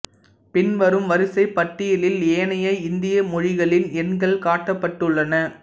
பின்வரும் வரிசைப் பட்டியலில் ஏனைய இந்திய மொழிகளின் எண்கள் காட்டப்பட்டுள்ளன